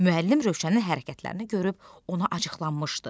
Müəllim Rövşənin hərəkətlərini görüb ona acıqlanmışdı.